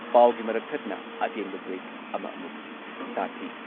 ꯄꯥꯎꯒꯤ ꯃꯔꯛ ꯊꯠꯅ ꯑꯇꯦꯟꯕ ꯕ꯭ꯔꯦꯛ ꯑꯃ ꯑꯃꯨꯛ ꯁꯥꯊꯤ